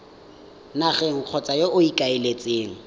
nageng kgotsa yo o ikaeletseng